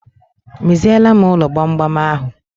Meziele m ụlọ gbamgbam ahụ